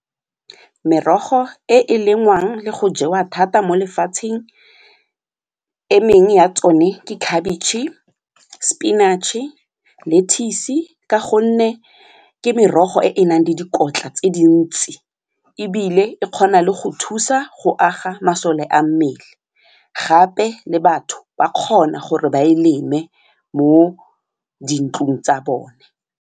Merogo e e lengwang le go jewa thata mo lefatsheng emengwe ya tsone ke khabitšhe, spinach-e, lettuce ka gonne ke merogo e e nang le dikotla tse dintsi ebile e kgona le go thusa go aga masole a mmele gape le batho ba kgona gore ba e leme mo dintlong tsa bone.